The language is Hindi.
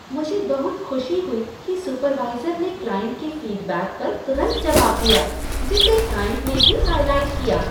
मुझे बहुत खुशी हुई कि सुपरवाइजर ने क्लाइंट के फीडबैक पर तुरंत जवाब दिया, जिसे क्लाइंट ने भी हाइलाइट किया।